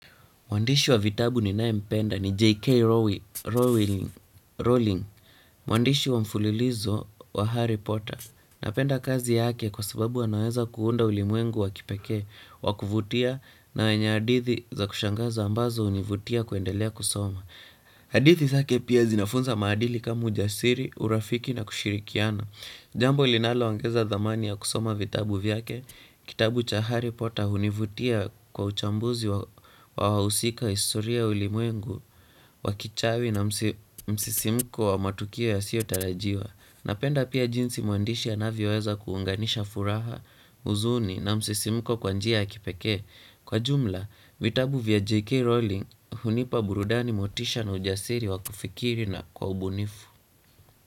Mwandishi wa vitabu ninaempenda ni J.K Row Rowling. Rowling, mwandishi wa mfulilizo wa Harry Potter. Napenda kazi yake kwa sababu anaweza kuunda ulimwengu wa kipekee, wakuvutia na wenye hadithi za kushangaza ambazo hunivutia kuendelea kusoma. Hadithi zake pia zinafunza maadili kama ujasiri, urafiki na kushirikiana. Jambo linaloongeza thamani ya kusoma vitabu vyake, kitabu cha Harry Potter hunivutia kwa uchambuzi wa wahusika historia ya ulimwengu, wa kichawi na msi msisimko wa matukio yasiyo tarajiwa. Napenda pia jinsi mwandishi anavyoweza kuunganisha furaha, huzuni na msisimko kwa njia ya kipekee. Kwa jumla, vitabu vya J.K. Rowling hunipa burudani motisha na ujasiri wa kufikiri na kwa ubunifu.